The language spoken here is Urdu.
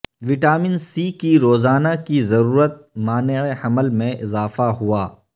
وٹامن سی کی روزانہ کی ضرورت مانع حمل میں اضافہ ہوا